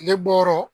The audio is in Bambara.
Tile bɔ yɔrɔ